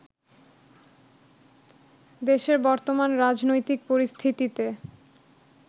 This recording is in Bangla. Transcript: দেশের বর্তমান রাজনৈতিক পরিস্থিতিতে